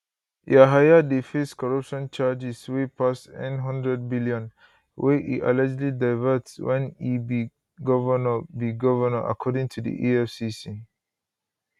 yahaya dey face corruption charges wey pass n100 billion wey e allegedly divert wen e be govnor be govnor according to di efcc